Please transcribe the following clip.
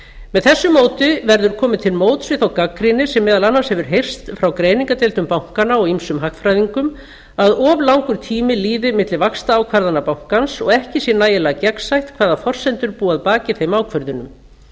með þessu móti verður komið til móts við þá gagnrýni sem meðal annars hefur heyrst frá greiningadeildum bankanna og ýmsum hagfræðingum að of langur tími líði milli vaxtaákvarðana bankans og ekki sé nægilega gegnsætt hvaða forsendur búi að baki þeim ákvörðunum